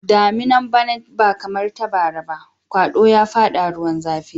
Daminan bana ba kamar ta bara ba, kwado ya fada ruwan zafi.